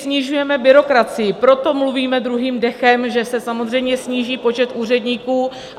Snižujeme byrokracii, proto mluvíme druhým dechem, že se samozřejmě sníží počet úředníků.